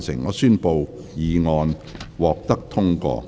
我宣布議案獲得通過。